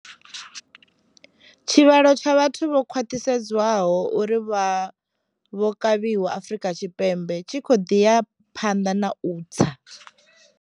Tshivhalo tsha vhathu vho khwaṱhisedzwaho uri vha vho kavhiwa Afrika Tshipembe tshi khou ḓi ya phanḓa na u tsa.